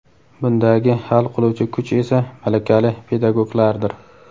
Bundagi hal qiluvchi kuch esa - malakali pedagoglardir.